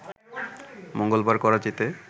মঙ্গলবার করাচিতে